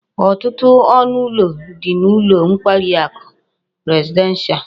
Otutu onu ulo di n'ulo nkwari aku presidential